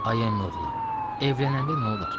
Ay əmioğlu, evlənəndə nə olar?